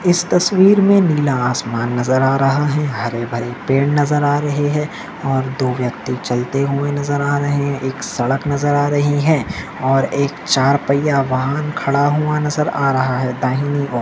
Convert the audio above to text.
इस तस्वीर मे नीला आसमान नजर आ रहा है हरे भरे पेड़ नजर आ रहे है और दो व्यक्ति चलते हुए नजर आ रहे है एक सड़क नजर आ रही है और एक चार पैया वाहन खड़ा हुआ नजर आ रहा है दाहिनी ओर--